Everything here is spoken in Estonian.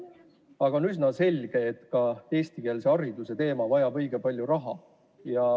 Aga on üsna selge, et ka eestikeelse hariduse juurutamine vajab õige palju raha.